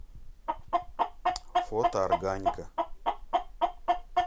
фото органика